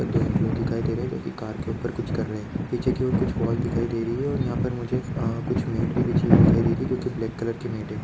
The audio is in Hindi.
दो इम्प्लॉइ दिखाई दे रहे है जो की कार के ऊपर कुछ कर रहे है पीछे की और कुछ वोल दिखाई दे रही है ओर यहां पर मुझे अ कुछ मेट भी बिछी हुई दिखाई दे रही है जो की ब्लैक कलर की मेट है।